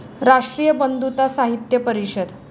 राष्ट्रीय बंधुता साहित्य परिषद